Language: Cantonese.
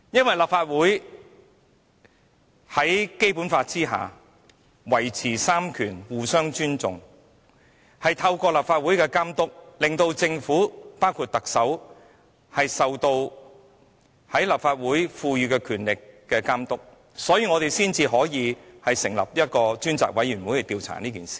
在《基本法》下三權應互相尊重，為了讓政府受立法會賦予的權力監督，所以我們成立專責委員會調查這事。